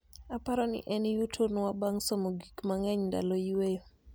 aparoni en yuto nwa bang somo gik mangeny ndalo yweyo